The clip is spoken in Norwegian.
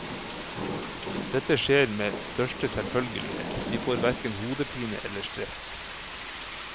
Dette skjer med største selvfølgelighet, de får verken hodepine eller stress.